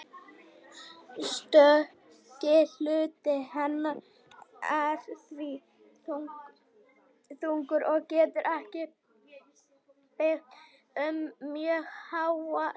Stökki hluti hennar er því þunnur og getur ekki byggt upp mjög háa spennu.